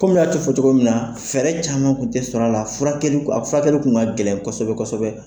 Kɔmi y'a ci fɔ cogo min na, fɛɛrɛ caman kun tɛ sɔrɔ a la a furakɛli tun ka gɛlɛn kosɛbɛ.